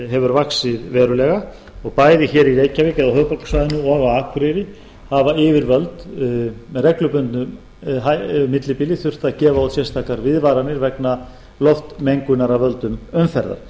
hefur vaxið verulega og bæði í reykjavík á höfuðborgarsvæðinu og á akureyri hafa yfirvöld með reglubundnu millibili þurft að gefa út sérstakar viðvaranir um loftmengun af völdum umferðar